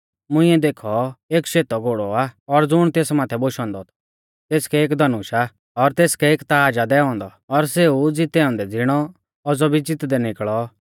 मुंइऐ देखौ एक शेतौ घोड़ौ आ और ज़ुण तेस माथै बोशौ औन्दौ थौ तेसकै एक धनुष आ और तेसकै एक ताज़ आ दैऔ औन्दौ और सेऊ ज़ितै औन्दै ज़िणौ औज़ौ भी ज़ितदै निकल़ौ